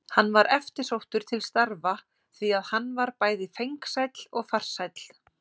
Hann var eftirsóttur til starfa því að hann var bæði fengsæll og farsæll.